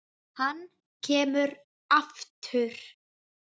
Hann kemur aftur.